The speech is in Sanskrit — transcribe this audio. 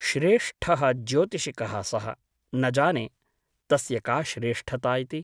श्रेष्ठः ज्योतिषिकः सः । न जाने , तस्य का श्रेष्ठता इति ।